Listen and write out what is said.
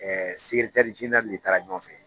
Ɛɛ segeretɛri zenerali le taara ɲɔgɔn fɛ